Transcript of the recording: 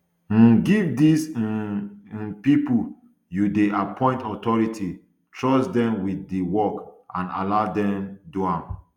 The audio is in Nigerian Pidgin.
um give these um um pipo you dey appoint authority trust dem wit di work and allow dem do am